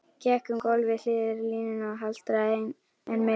Gekk um gólf við hliðarlínuna og haltraði enn meira.